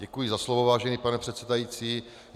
Děkuji za slovo, vážený pane předsedající.